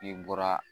I bɔra